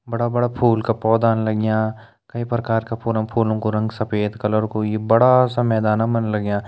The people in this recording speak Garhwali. बड़ा बड़ा फूल का पौधान लग्यां कई प्रकार का फूल फूलों कु रंग सफ़ेद कलर कु यी बड़ा सा मैदानम लग्यां।